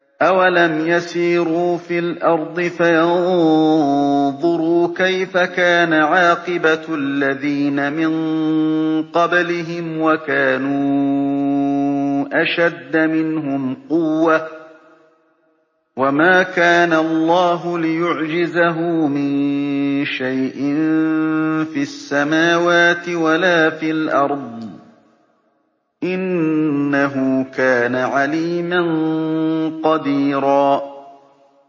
أَوَلَمْ يَسِيرُوا فِي الْأَرْضِ فَيَنظُرُوا كَيْفَ كَانَ عَاقِبَةُ الَّذِينَ مِن قَبْلِهِمْ وَكَانُوا أَشَدَّ مِنْهُمْ قُوَّةً ۚ وَمَا كَانَ اللَّهُ لِيُعْجِزَهُ مِن شَيْءٍ فِي السَّمَاوَاتِ وَلَا فِي الْأَرْضِ ۚ إِنَّهُ كَانَ عَلِيمًا قَدِيرًا